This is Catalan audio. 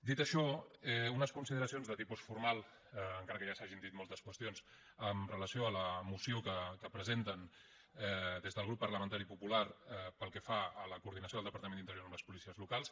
dit això unes consideracions de tipus formal encara que ja s’hagin dit moltes qüestions amb relació a la moció que presenten des del grup parlamentari popular pel que fa a la coordinació del departament d’interior amb les policies locals